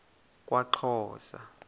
kwaxhosa